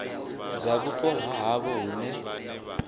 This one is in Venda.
dza vhupo ha havho hune